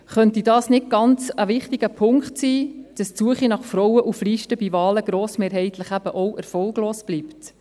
Könnte dies nicht ein ganz wichtiger Punkt sein, weswegen die Suche nach Frauen für Listen bei Wahlen eben grossmehrheitlich erfolglos bleibt?